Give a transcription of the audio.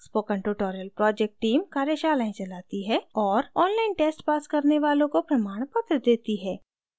spoken tutorial project team कार्यशालाएं चलाती है और online test pass करने वालों को प्रमाणपत्र देती है